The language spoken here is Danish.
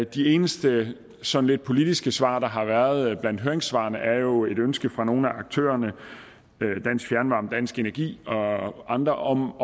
de eneste sådan lidt politiske svar der har været blandt høringssvarene er jo et ønske fra nogle af aktørerne dansk fjernvarme dansk energi og andre om